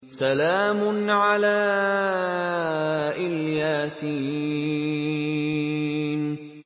سَلَامٌ عَلَىٰ إِلْ يَاسِينَ